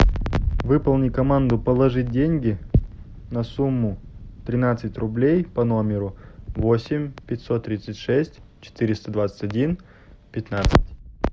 выполни команду положить деньги на сумму тринадцать рублей по номеру восемь пятьсот тридцать шесть четыреста двадцать один пятнадцать